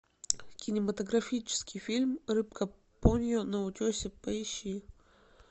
кинематографический фильм рыбка поньо на утесе поищи